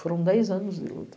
Foram dez anos de luta.